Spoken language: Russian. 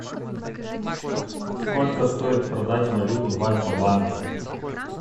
сколько стоит продать валюту в альфа банке